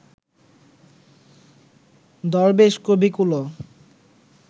দরবেশ কবিকুলও